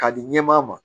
K'a di ɲɛmaa ma